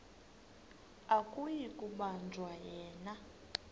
akuyi kubanjwa yena